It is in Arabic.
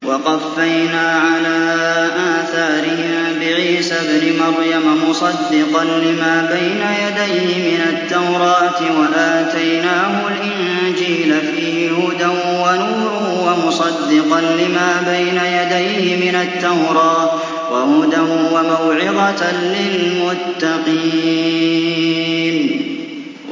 وَقَفَّيْنَا عَلَىٰ آثَارِهِم بِعِيسَى ابْنِ مَرْيَمَ مُصَدِّقًا لِّمَا بَيْنَ يَدَيْهِ مِنَ التَّوْرَاةِ ۖ وَآتَيْنَاهُ الْإِنجِيلَ فِيهِ هُدًى وَنُورٌ وَمُصَدِّقًا لِّمَا بَيْنَ يَدَيْهِ مِنَ التَّوْرَاةِ وَهُدًى وَمَوْعِظَةً لِّلْمُتَّقِينَ